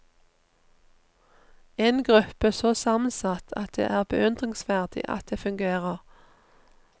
En gruppe så sammensatt at det er beundringsverdig at det fungerer.